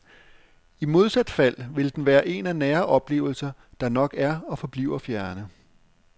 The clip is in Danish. I modsat fald vil den være en af nære oplevelser, der nok er og forbliver fjerne.